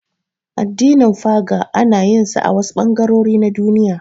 Addinin Faga ana yin sa a wasu ɓangarori na Duniya.